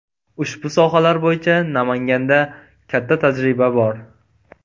Ushbu sohalar bo‘yicha Namanganda katta tajriba bor.